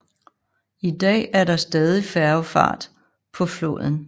I dag er der stadig færgefart på floden